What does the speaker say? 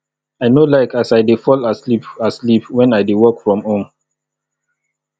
i no like as i dey fall asleep asleep wen i dey work from home